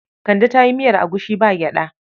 Kande ta yi miyar agushi ba gyaɗa.